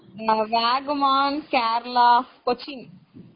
நாங்க வாகமோன், கேரளா, கொச்சின்.